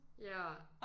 Ja